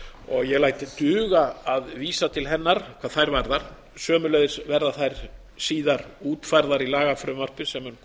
og ég læt duga að vísa til hennar hvað þær varðar sömuleiðis verða þær síðar útfærðar í lagafrumvarpi sem